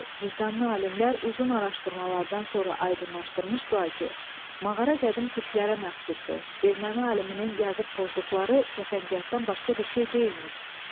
Vicdanlı alimlər uzun araşdırmalardan sonra aydınlaşdırmışdılar ki, mağara qədim türklərə məxsusdur, erməni aliminin yazıb pozduqları cəfəngiyatdan başqa bir şey deyilmiş.